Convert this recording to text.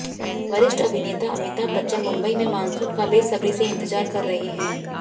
वरिष्ठ अभिनेता अमिताभ बच्चन मुंबई में मानसून का बेसब्री से इंतजार कर रहे हैं